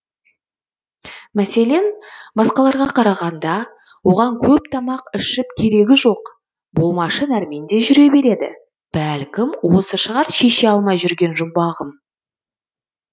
мәселен басқаларға қарағанда оған көп тамақ ішіп керегі жоқ болмашы нәрмен де жүре береді бәлкім осы шығар шеше алмай жүрген жұмбағым